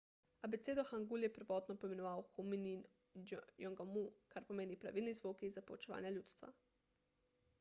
abecedo hangul je prvotno poimenoval hunmin jeongeum kar pomeni pravilni zvoki za poučevanje ljudstva